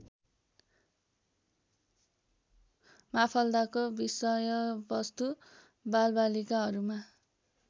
माफाल्दाको विषयवस्तु बालबालिकाहरूमा